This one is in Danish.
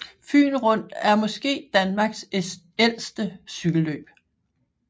Fyen Rundt er måske Danmarks ældste cykelløb